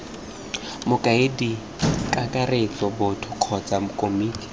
mokaedi kakaretso boto kgotsa komiti